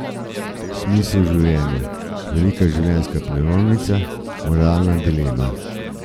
Smisel življenja, velika življenjska prelomnica, moralna dilema.